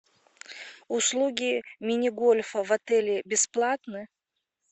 услуги мини гольфа в отеле бесплатны